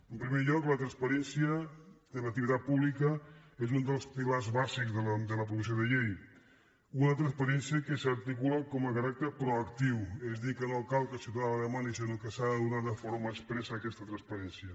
en primer lloc la transparència de l’activitat pública és un dels pilars bàsics de la proposició de llei una transparència que s’articula com a caràcter proactiu és a dir que no cal que el ciutadà la demani sinó que s’ha de donar de forma expressa aquesta transparència